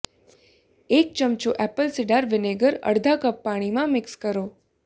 એક ચમચો apple cider vinegar અડધા કપ પાણીમાં મિક્સ કરો